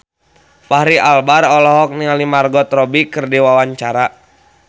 Fachri Albar olohok ningali Margot Robbie keur diwawancara